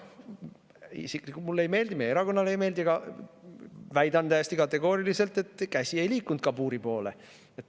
Isiklikult mulle see ei meeldi, meie erakonnale ei meeldi, aga ma väidan täiesti kategooriliselt, et mu käsi ei liikunud kabuuri poole.